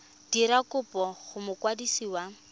dira kopo go mokwadisi wa